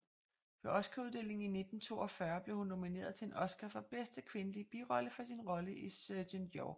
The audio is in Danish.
Ved Oscaruddelingen i 1942 blev hun nomineret til en Oscar for bedste kvindelige birolle for sin rolle i Sergent York